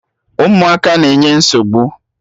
Ụmụaka na-enye nsogbu!